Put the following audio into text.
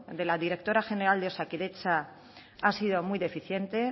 de la directora general de osakidetza ha sido muy deficiente